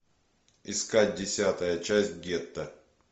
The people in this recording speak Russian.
искать десятая часть гетто